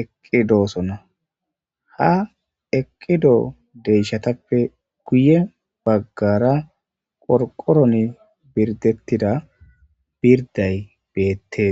eqqidoosona ha eqqido deyshatappe guye baggara qorqoron birdettida birday beettees.